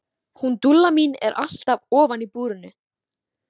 Hún Dúlla mín er alltaf ofan í búrinu.